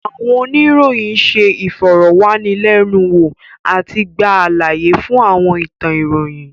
Àwọn oníròyìn ṣé ìfọ̀rọ̀wánilẹ́nuwò àti gba àlàyé fún àwọn ìtàn ìròyìn